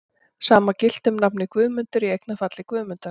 Sama gilti um nafnið Guðmundur, í eignarfalli Guðmundar.